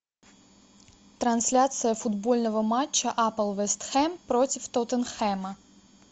трансляция футбольного матча апл вест хэм против тоттенхэма